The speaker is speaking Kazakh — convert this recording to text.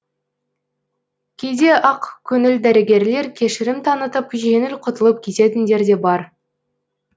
кейде ақкөңіл дәрігерлер кешірім танытып жеңіл құтылып кететіндер де бар